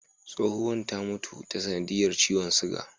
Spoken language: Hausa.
Tsohuwan ta mutu ta sanadiyar ciwon sugar.